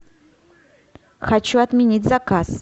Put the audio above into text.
хочу отменить заказ